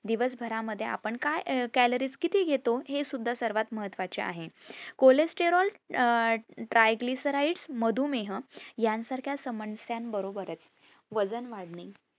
दिवसभरा मध्ये आपण कय अं calories किती घेतो हे सुद्धा सर्वांत महत्वाचे आहे. cholesterol अं triglycerides मधुमेह, यांसारख्या समस्या बरोबरच वजन वाढणे